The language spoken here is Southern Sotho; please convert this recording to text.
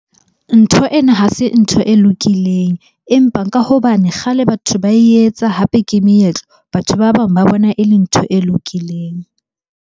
Ntho ena ha se ntho e lokileng. Empa ka hobane kgale batho ba etsa, hape ke meetlo. Batho ba bang ba bona e le ntho e lokileng.